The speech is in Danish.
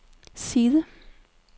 side